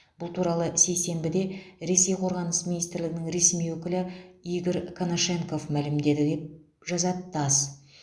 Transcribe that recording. бұл туралы сейсенбіде ресей қорғаныс министрлігінің ресми өкілі игорь конашенков мәлімдеді деп жазады тасс